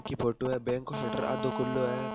की फोटो है बैंक को सटर आधो खुलो है।